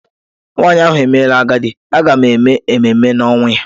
Nwanyị ahụ emela agadi, a ga-eme ememe na-ọnwụ ya.